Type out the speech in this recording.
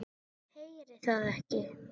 Heyri það ekki.